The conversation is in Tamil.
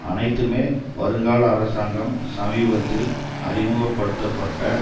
அனைத்துமே வருங்கால அரசாங்கம் சமீபத்தில் அறிமுக படுத்த பட்ட